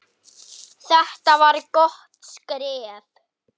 Þetta var gott skref.